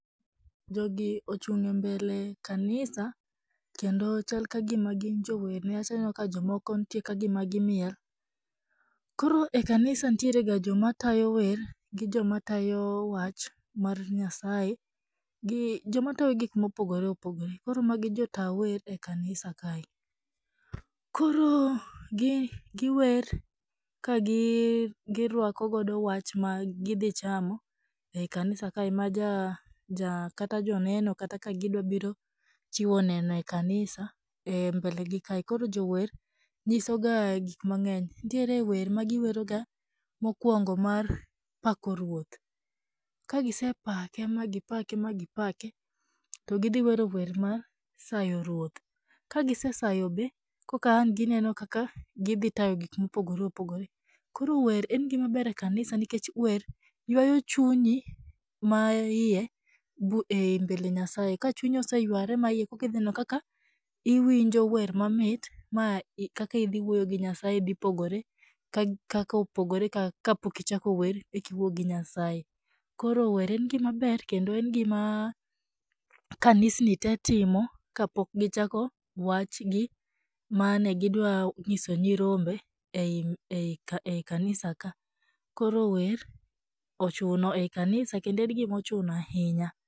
Jogi ochung' e mbele kanisa, kendo chal ka gima gin jower nikech aneno ka gima jomoko nitie ka gima gimiel. Koro e kanisa nitiere ga jok matayo wer gi joma tayo wach mar Nyasaye gi jok matayo gik ma opogore opogore. Koro magi gin jotaa wer e kanisa kae. Koro giwer ka girwakogodo wach ma gidhi chamo e kanisa kae ma kata joneno kata ka gidwa biro chiwo neno e kanisa e mbele gi kae . Koro jower nyisoga gik mang'eny. Nitie wer magiweroga mokwongo mar pako Ruoth. Ka gisepake ma gipake ma gipake, to gidhi wero wer mar sayo Ruoth . Ka gisesayo be koka an gineno kaka gidhi tayo gika ma opogore opogore. Koro wer en gima ber e kanisa nikech wer ywayo chunyi maiye e mbele Nyasaye . Ka chunyi oseyware maiye, koka idhi neno kaka iwinjo wer mamit ma kaka idhi wuoyo gi Nyasaye dhi pogore gi kaka opogore ka pok ichako wer eka iwuo gi Nyasaye. Koro wer en gima ber kendo en gima kanisni te timo ka pok gichako wachgi mane gidwa nyiso nyirombe ei kanisa ka. Koro wer ochuno ei kanisa kendo en gima ochuno ahinya.